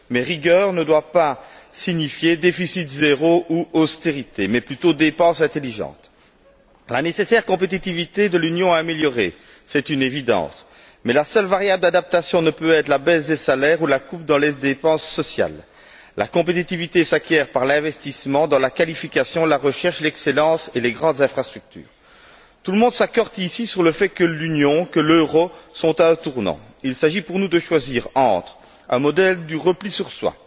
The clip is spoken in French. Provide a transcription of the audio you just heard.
Mais rigueur ne doit pas signifier déficit zéro ou austérité, mais plutôt dépenses intelligentes. La nécessaire compétitivité de l'Union est à améliorer, c'est une évidence, mais la seule variable d'adaptation ne peut être la baisse des salaires ou la coupe dans les dépenses sociales. La compétitivité s'acquiert par l'investissement dans la qualification, la recherche, l'excellence et les grandes infrastructures. Tout le monde s'accorde ici sur le fait que l'Union, que l'euro, sont à un tournant. Il s'agit pour nous de choisir entre un modèle du repli sur